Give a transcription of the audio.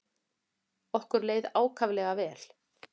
Okkur leið ákaflega vel.